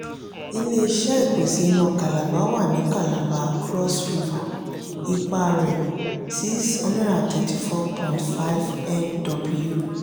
ilé-iṣé ìpèsè iná calabar wà ní calabar cross river; ipá rẹ: six hundred and thirty four point mw